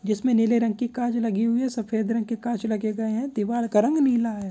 जिसमे नीले रंग की कांच लगी हुई है सफेद रंग के कांच लगे गए हैदीवाल का रंग नीला है।